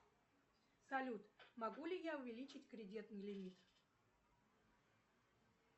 салют могу ли я увеличить кредитный лимит